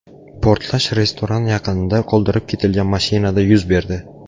Portlash restoran yaqinida qoldirib ketilgan mashinada yuz berdi.